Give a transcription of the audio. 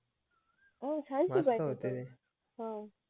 मस्त होते ते